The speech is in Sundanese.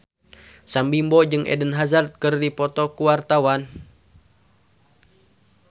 Sam Bimbo jeung Eden Hazard keur dipoto ku wartawan